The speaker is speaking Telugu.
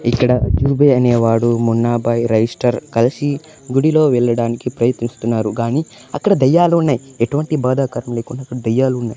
ఇక్కడ జూబి అనేవాడు మున్నాభాయ్ రైస్టర్ కలిసి గుడిలో వెళ్లడానికి ప్రయత్నిస్తున్నారు గాని అక్కడ దయ్యాలు ఉన్నాయి ఎటువంటి బాధాకరం లేకుండా అక్కడ దెయ్యాలు ఉన్నాయ్.